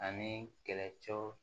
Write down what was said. Ani kɛlɛcɛw